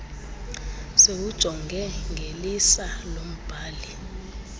siwujonge ngelisa lombhali